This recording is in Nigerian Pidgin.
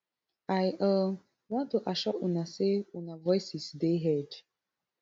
i um want to assure una say una voices dey heard